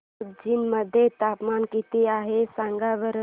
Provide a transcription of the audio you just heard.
कोचीन मध्ये तापमान किती आहे सांगा बरं